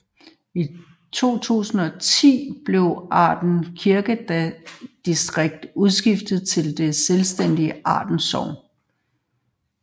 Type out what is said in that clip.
I 2010 blev Arden Kirkedistrikt udskilt som det selvstændige Arden Sogn